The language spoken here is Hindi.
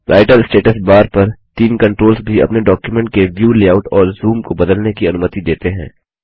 राइटर स्टेटस बार पर तीन कन्ट्रोल्स भी अपने डॉक्युमेंट के व्यू लेआउट और जूम को बदलने की अनुमति देते हैं